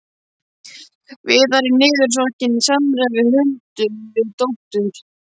Viðar er niðursokkinn í samræður við Huldu, við dóttur